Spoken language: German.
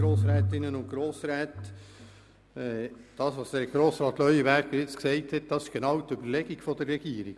Das, was Grossrat Leuenberger jetzt gesagt hat, ist genau die Überlegung der Regierung.